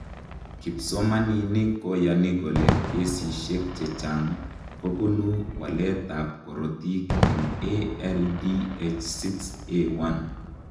Kipsomaninik koyani kole kesishek chechang' kobunu waletab korotik eng ALDH6A1.